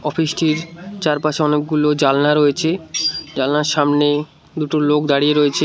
চারপাশে অনেকগুলো জানলা রয়েছে জানলার সামনে দুটো লোক দাঁড়িয়ে রয়েছে।